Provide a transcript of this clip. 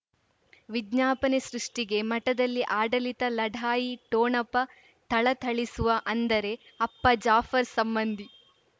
ವಿಜ್ಞಾಪನೆ ಸೃಷ್ಟಿಗೆ ಮಠದಲ್ಲಿ ಆಡಳಿತ ಲಢಾಯಿ ಠೊಣಪ ಥಳಥಳಿಸುವ ಅಂದರೆ ಅಪ್ಪ ಜಾಫರ್ ಸಂಬಂಧಿ